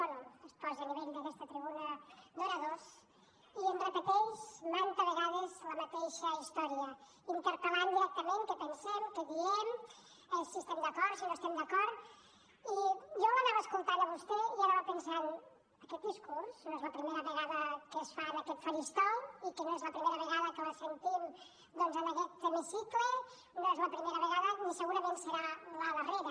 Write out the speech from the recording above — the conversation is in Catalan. bé es posa a nivell d’aquesta tribuna d’oradors i ens repeteix manta vegades la mateixa història interpel·lant directament què pensem què diem si hi estem d’acord si no hi estem d’acord i jo l’anava escoltant a vostè i anava pensant aquest discurs no és la primera vegada que es fa en aquest faristol i que no és la primera vegada que la sentim doncs en aquest hemicicle no és la primera vegada ni segurament serà la darrera